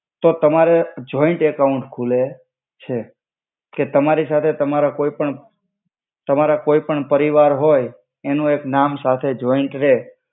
તો તમારે joint account ખુલે છે કે તમારિ સાથે તમારા કોઇ પણ તમારા કોઇ પરિવાર હોઇ એનુ એક નામ સાથે જોઇંટ રે